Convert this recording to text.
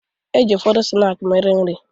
E ji ụfọdụ snaakị mere nri.